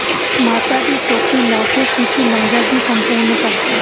ਮਾਤਾ ਦੀ ਚੌਕੀ ਲਾ ਕੇ ਕੀਤੀ ਲੰਗਰ ਦੀ ਸੰਪੂਰਨਤਾ